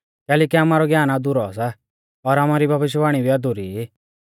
कैलैकि आमारौ ज्ञान अधुरौ सा और आमारी भविष्यवाणी भी अधुरी ई